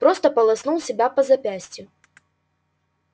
просто полоснул себя по запястью